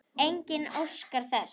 Enginn óskar þess.